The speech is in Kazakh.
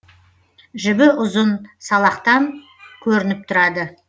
жібі ұзын салақтан көрініп тұрады